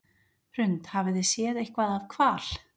Hrund: Hafið þið séð eitthvað af hval?